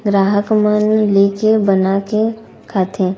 ग्राहक मन लेके बनाके खाथे।